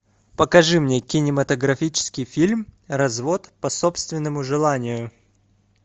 покажи мне кинематографический фильм развод по собственному желанию